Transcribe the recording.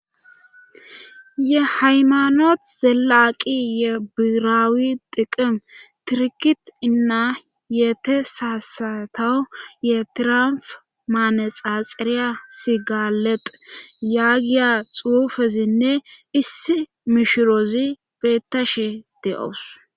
Ye haymanot zelaaqi ye biiraawi diqim tirkit inna yeete saasatowu ye tiramf maanexaxiriya sigaleq yaagiya xuufezinne issi mishiroozi beettashe de'owus.